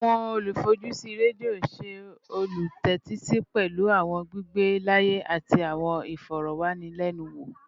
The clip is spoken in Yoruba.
Awọn olufojusi redio ṣe olutẹtisi pẹlu awọn gbigbe laaye ati awọn ifọrọwanilẹnuwo